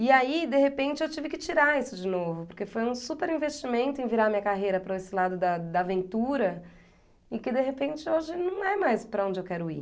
E aí, de repente, eu tive que tirar isso de novo, porque foi um super investimento em virar a minha carreira para esse lado da da aventura e que, de repente, hoje não é mais para onde eu quero ir.